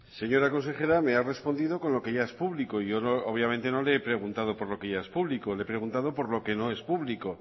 señora consejera me ha respondido con lo que ya es público y yo obviamente no le he preguntado por lo que ya es público le he preguntado por lo que no es público